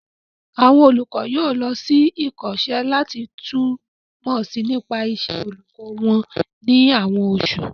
Àwọn olùkọ́ yóò lọ sí ìkọ́ṣẹ́ láti tún mọ̀ si nípa ìṣe olùkọ́ wọn ní àwọn osu